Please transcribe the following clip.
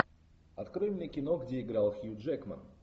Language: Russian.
открой мне кино где играл хью джекман